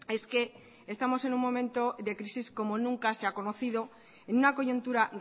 es que estamos en un momento de crisis como nunca se ha conocido en una coyuntura